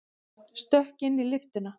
Stökk inn í lyftuna.